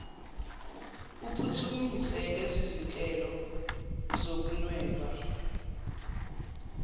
uphuthumise lezizinhlelo zokunweba